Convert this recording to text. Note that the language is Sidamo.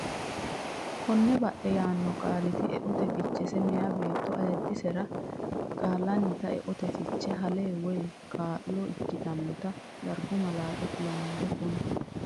Konne badhe yaanno qaaliti eote fichesi meyaa beettono ayiddisera Qaallannita eote fiche hale woy kaa lo ikkitannota Darbu malaate kulannoho Konne.